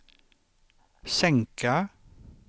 sänka